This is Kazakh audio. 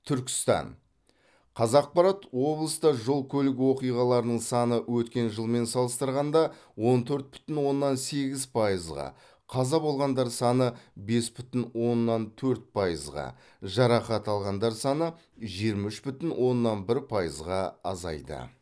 түркістан қазақпарат облыста жол көлік оқиғаларының саны өткен жылмен салыстырғанда он төрт бүтін оннан сегіз пайызға қаза болғандар саны бес бүтін оннан төрт пайызға жарақат алғандар саны жиырма үш бүтін оннан бір пайызға азайды